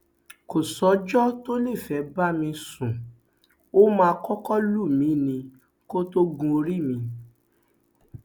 kò sọjọ tó lè fẹẹ bá mi sùn ó máa kọkọ lù mí ni kó tóó gun orí mi